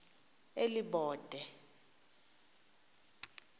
elibode